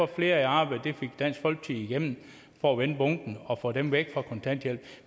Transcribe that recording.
flere i arbejde igennem for at vende bunken og få dem væk fra kontanthjælp